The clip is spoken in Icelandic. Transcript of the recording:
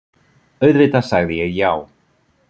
Auðvitað sagði ég já.